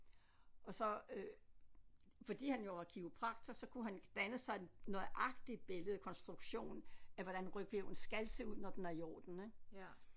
Og så øh fordi han jo var kiropraktor så kunne han danne sig et nøjagtigt billede konstruktion af hvordan ryghvirvlen skal så ud når den er i orden ik